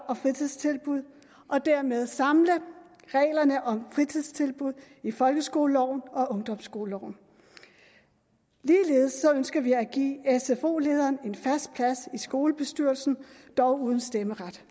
og fritidstilbud og dermed samle reglerne om fritidstilbud i folkeskoleloven og ungdomsskoleloven ligeledes ønsker vi at give sfo lederen en fast plads i skolestyrelsen dog uden stemmeret